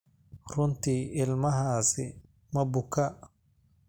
Runtii ilmahaasi ma bukaa?